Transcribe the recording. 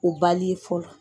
O fɔlɔ